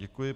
Děkuji.